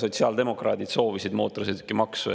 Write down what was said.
Sotsiaaldemokraadid soovisid mootorsõidukimaksu.